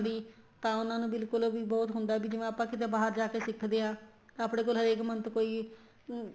ਦੀ ਤਾਂ ਉਹਨਾ ਨੂੰ ਬਿਲਕੁਲ ਵੀ ਬਹੁਤ ਹੁੰਦਾ ਹੈ ਜਿਵੇਂ ਆਪਾਂ ਕਿੱਥੇ ਬਾਹਰ ਜਾਕੇ ਸਿਖਦੇ ਹਾਂ ਤਾਂ ਆਪਣੇ ਕੋਲ ਹਰੇਕ month ਕੋਈ ਅਮ